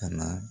Ka na